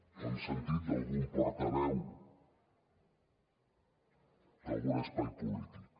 ho hem sentit d’algun portaveu d’algun espai polític